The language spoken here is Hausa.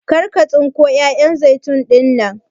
Kar ka tsinko 'ya'yan zaitun ɗinnan!